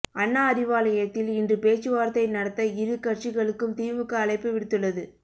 அண்ணா அறிவாலயத்தில் இன்று பேச்சுவார்த்தை நடத்த இரு கட்சிகளுக்கும் திமுக அழைப்பு விடுத்துள்ளது